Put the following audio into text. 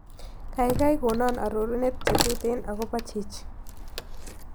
Gaigai konon arorunet chetuten agobo chichi